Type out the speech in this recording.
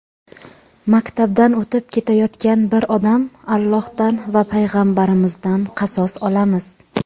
maktabdan o‘tib ketayotgan bir odam Allohdan va Payg‘ambarimizdan qasos olamiz.